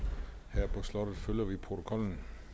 her på slottet følger vi protokollen